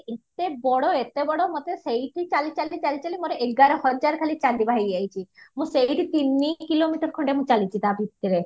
ଏତେ ବଡ ଏତେ ବଡ ମତେ ସେଇଠି ଚାଲି ଚାଲି ଚାଲି ଚାଲି ମୋର ଏଗାର ହଜାର ଖାଲି ଚାଲିବ ହେଇଯାଇଚି ମୁଁ ସେଇଠି ତିନି kilometer ଖଣ୍ଡେ ମୁଁ ଚାଳିଚି ତା ଭିତରେ